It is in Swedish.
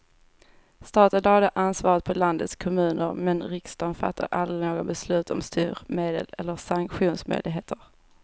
Staten lade ansvaret på landets kommuner, men riksdagen fattade aldrig några beslut om styrmedel eller sanktionsmöjligheter.